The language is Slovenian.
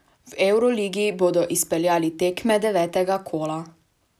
V evroligi bodo izpeljali tekme devetega kola.